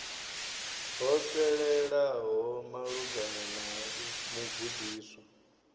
ho fhelelaho malugana na mugudiswa